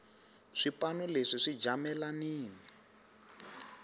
swipano leswi swi jamelanini